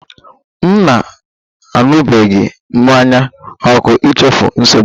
M na-aṅụbiga mmanya ókè ichefu nsogbu m